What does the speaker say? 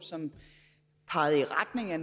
og som pegede i retning af